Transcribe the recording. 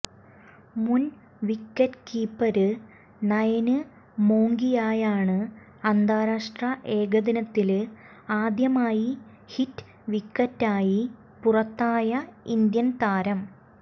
മുന് wicket keeper Nayan മോംഗിയയാണ് അന്താരാഷ്ട്ര ഏകദിനത്തില് ആദ്യമായി ഹിറ്റ് വിക്കറ്റായി പുറത്തായ ഇന്ത്യന് താരം